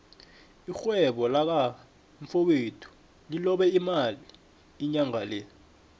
irhwebo laka mfowethu lilobe imali inyangale